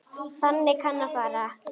Þannig kann að fara.